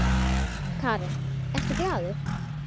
Karen: Ertu glaður?